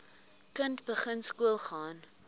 kind begin skoolgaan